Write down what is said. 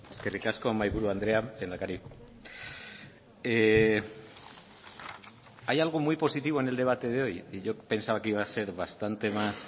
eskerrik asko mahaiburu andrea lehendakari hay algo muy positivo en el debate de hoy y yo pensaba que iba a ser bastante más